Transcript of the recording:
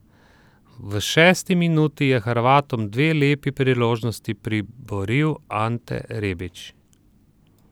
V šesti minuti je Hrvatom dve lepi priložnosti priboril Ante Rebić.